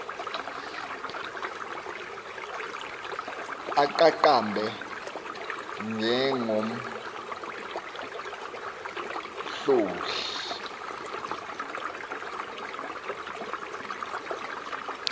aqaqa mbe njengomhlohli